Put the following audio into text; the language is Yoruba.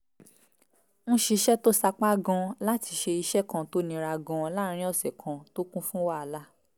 ń ṣiṣẹ́ tó sapá gan-an láti ṣe iṣẹ́ kan tó nira gan-an láàárín ọ̀sẹ̀ kan tó kún fún wàhálà